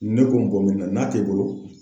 Ne ko n'a t'e bolo